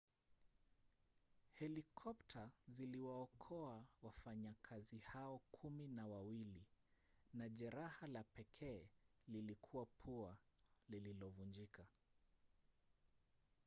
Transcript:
helikopta ziliwaokoa wafanyakazi hao kumi na wawili na jeraha la pekee lilikuwa pua lililovunjika